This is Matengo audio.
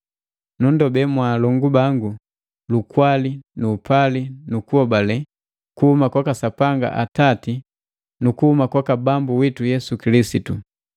Nunndobe mwa alongu bangu lukwali nu upali nu kuhobale kuhuma kwaka Sapanga Atati nu kuhuma kwaka Bambu witu Yesu Kilisitu.